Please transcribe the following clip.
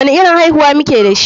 Wani irin aihuwa muke dashi?